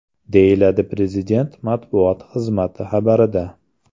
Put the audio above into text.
deyiladi Prezident matbuot xizmati xabarida.